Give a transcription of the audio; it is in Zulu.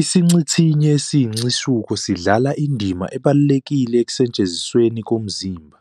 IsiNcithinye esiyisincishuko sidlala indima ebalulekile ekusetshenzisweni komzimba,